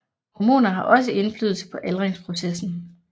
Hormoner har også indflydelse på aldringsprocessen